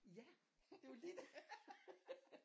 Ja det var lige det